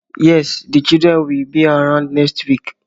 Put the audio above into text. Yes, the children will be around next week